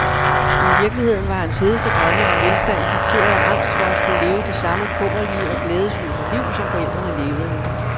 I virkeligheden var hans hedeste drømme om velstand dikteret af angst for at skulle leve det samme kummerlige og glædesløse liv, som forældrene levede.